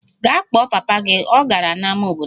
Gaa kpọọ papa gị! Ọ gara n'ámá obodo ahụ.